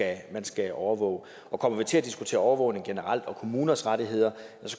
er man skal overvåge og kommer vi til at diskutere overvågning generelt og kommuners rettigheder